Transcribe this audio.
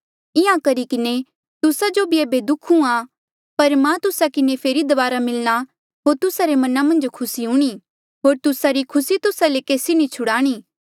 इंहां करी किन्हें तुस्सा जो भी एेबे दुःख हुंहां पर मां तुस्सा किन्हें फेरी दबारा मिलणा होर तुस्सा रे मना मन्झ खुसी हूणीं होर तुस्सा री खुसी तुस्सा ले केसी नी छुड़ाणी